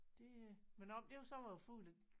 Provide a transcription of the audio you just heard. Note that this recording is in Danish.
Det øh men om det så var farligt